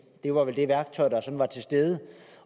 det var vel det værktøj der var til stede